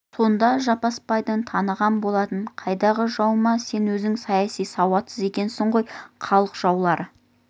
сонда жаппасбайды таныған болатын қайдағы жау мә сен өзің саяси сауатсыз екенсің ғой халық жаулары